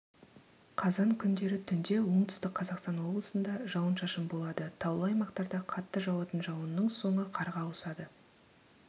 қазан күндері түнде оңтүстік қазақстан облысында жауын-шашын болады таулы аймақтарда қатты жауатын жауынның соңы қарға ауысады